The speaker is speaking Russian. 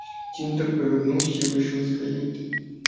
тинтер повернулся и вышел из каюты